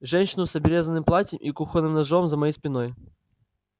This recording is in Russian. женщину с обрезанным платьем и кухонным ножом за моей спиной